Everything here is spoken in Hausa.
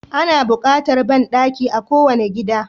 Ana bukatar banɗaki a kowane gida